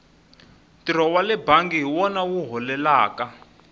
ntirho wale bangi hi wona wu holelaka